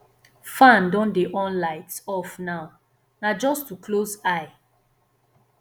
fan don dey on light off now na just to close eye